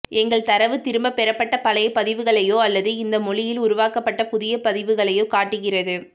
எங்கள் தரவு திரும்ப பெறப்பட்ட பழைய பதிவுகளையோ அல்லது இந்த மொழியில் உருவாக்கப்பட்ட புதிய பதிவுகளையோ காட்டுகிறது